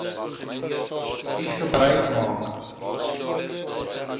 u gebruik maak